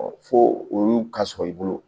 fo olu ka sɔrɔ i bolo